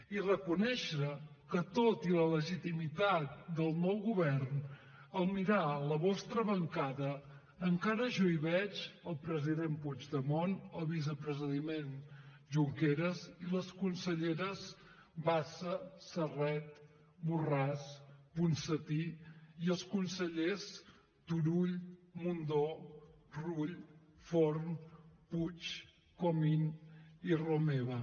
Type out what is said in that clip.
i reconèixer que tot i la legitimitat del nou govern al mirar la vostra bancada encara jo hi veig el president puigdemont el vicepresident junqueras les conselleres bassa serret borràs i ponsatí i els consellers turull mundó rull forn puig comín i romeva